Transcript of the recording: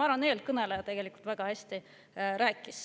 Ma arvan, et eelkõneleja tegelikult väga hästi rääkis